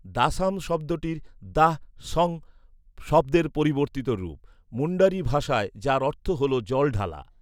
দাসাম শব্দটি ‘দাঃ সং’ শব্দের পরিবর্তিত রূপ, মুণ্ডারি ভাষায় যার অর্থ হল জল ঢালা।